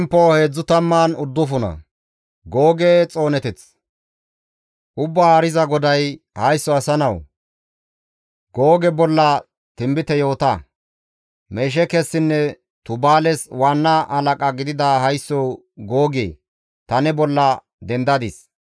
«Ubbaa Haariza GODAY, ‹Haysso asa nawu! Googe bolla tinbite yoota. Mesheekessinne Tubaales waanna halaqa gidida haysso Googe ta ne bolla dendadis.